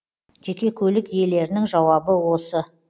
жеке көлік иелерінің жауабы осы